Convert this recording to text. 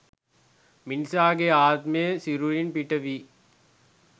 මිනිසාගේ ආත්මය සිරුරින් පිටවී